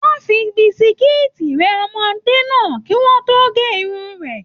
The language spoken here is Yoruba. Wọn fí bisikiiti rẹ ọmọdé náà kí o to ge irun rẹ.